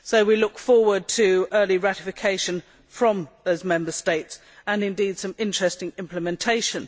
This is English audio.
We look forward to early ratification by those Member States and, indeed, some interesting implementation.